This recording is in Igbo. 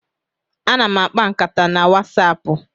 Ana m akpa nkata na Wasapu.